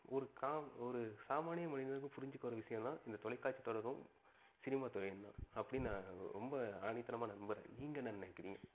ஒரு சாமானிய மனிதனுக்கும் புரிஞ்சிக்கிற ஒரு விஷயம் நா இந்த தொலைகாட்சி தொடர்பும், சினிமா துறையும் தான் அப்டின்னு நா ரொம்ப ஆணிதனமா நம்புறன். நீங்க என்னா நினைகிறிங்க?